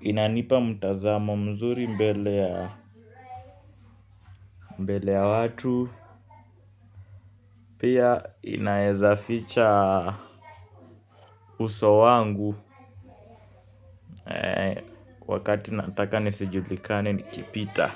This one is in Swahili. inanipa mtazamo mzuri mbele ya mbele ya watu. Pia inawezaficha uso wangu. Wakati nataka nisijulikane nikipita